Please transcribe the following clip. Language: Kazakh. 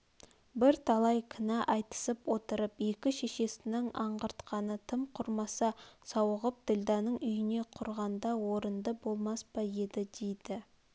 бірталай кінә айтысып отырып екі шешесінің аңғартқаны тым құрмаса сауығын ділдәның үйіне құрғанда орынды болмас па еді дейді